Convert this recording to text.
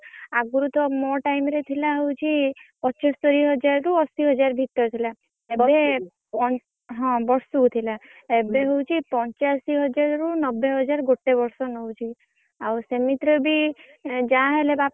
ଆଗରୁ ତ ମୋ time ରେ ଥିଲା ହଉଛି ପଚସ୍ତରୀହଜାରରୁ ଅଶିହଜାର ଭିତରେ ଥିଲା। ଏବେ ପ ହଁ ବର୍ଷୁକୁ ଥିଲା। ଏବେ ହଉଛି ପଞ୍ଚାଅଶିହଜ଼ର ରୁ ନବେହଜ଼ାର ଗୋଟେ ବର୍ଷ ନଉଛି। ଆଉ ସେମିତିରେ ବି ଏଁ ଯାହା ହେଲେ,